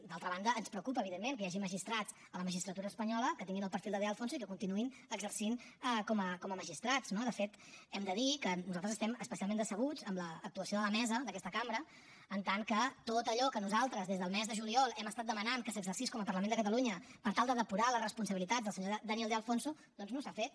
d’altra banda ens preocupa evidentment que hi hagi magistrats a la magistratura espanyola que tinguin el perfil de de alfonso i que continuïn exercint com a magistrats no de fet hem de dir que nosaltres estem especialment decebuts amb l’actuació de la mesa d’aquesta cambra en tant que tot allò que nosaltres des del mes de juliol hem estat demanant que s’exercís com a parlament de catalunya per tal de depurar les responsabilitats del senyor daniel de alfonso doncs no s’ha fet